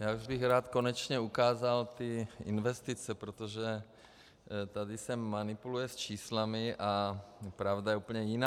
Já už bych rád konečně ukázal ty investice, protože tady se manipuluje s čísly a pravda je úplně jiná.